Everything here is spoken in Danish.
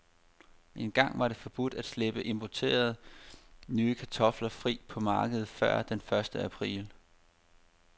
Engang var det forbudt at slippe importerede, nye kartofler fri på markedet før den første april.